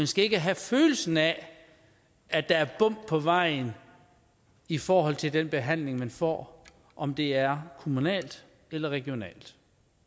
skal ikke have følelsen af at der er bump på vejen i forhold til den behandling man får om det er kommunalt eller regionalt